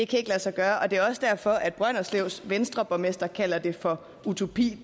kan lade sig gøre og det er også derfor at brønderslevs venstreborgmester kalder det for utopi